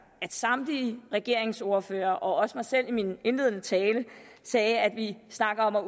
at samtlige regeringsordførere og også mig selv i min indledende tale sagde at vi snakker om at